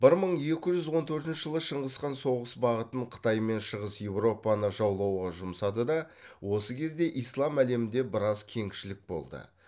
бір мың екі жүз он төртінші жылы шыңғысхан соғыс бағытын қытай мен шығыс еуропаны жаулауға жұмсады да осы кезде ислам әлемінде біраз кеңшілік болды